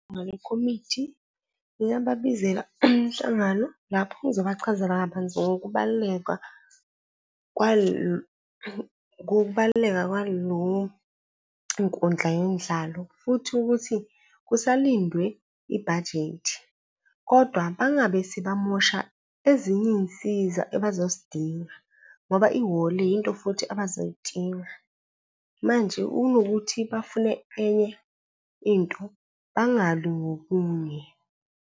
Ngale komiti ngingababizela umhlangano lapho ngizobachazela kabanzi ngokubaluleka , ngokubaluleka kwalo nkundla yomdlalo futhi ukuthi kusalindiwe ibhajethi. Kodwa bangabe sebamosha ezinye iy'nsiza ebazozidinga ngoba ihholo yinto futhi abazoyidinga. Manje unokuthi bafune enye into bangali ngokunye.